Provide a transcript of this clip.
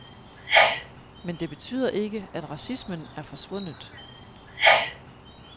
Men det betyder ikke, at racismen er forsvundet.